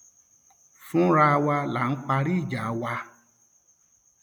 fúnra wa náà là ń parí ìjà wa